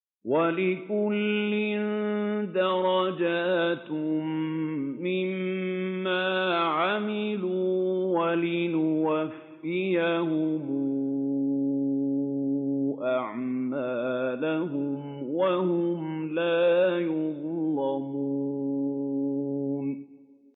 وَلِكُلٍّ دَرَجَاتٌ مِّمَّا عَمِلُوا ۖ وَلِيُوَفِّيَهُمْ أَعْمَالَهُمْ وَهُمْ لَا يُظْلَمُونَ